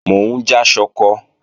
Mò ń já ṣọkọ